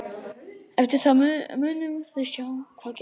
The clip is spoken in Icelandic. Eftir það munum við sjá hvað gerist.